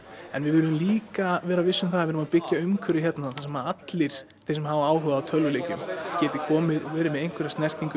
en við viljum líka vera viss um það að við erum að byggja umhverfi hérna þar sem allir þeir sem hafa áhuga á tölvuleikjum geti komið verið með einhverja snertingu við